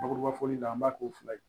Bakuruba fɔli la an b'a k'o fila ye